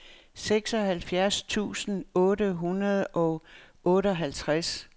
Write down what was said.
seksoghalvfjerds tusind otte hundrede og otteoghalvtreds